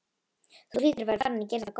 Þú hlýtur að vera farinn að gera það gott!